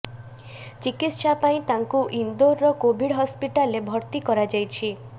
ଚିକିତ୍ସା ପାଇଁ ତାଙ୍କୁ ଇନ୍ଦୋରର କୋଭିଡ୍ ହସ୍ପିଟାଲରେ ଭର୍ତ୍ତି କରାଯାଇଛି